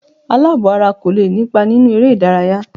Àlàbò-ara kò lè nípa nínú eré-ìdárayá.